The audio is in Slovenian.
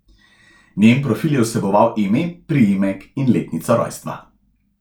Njen profil je vseboval ime, priimek in letnico rojstva.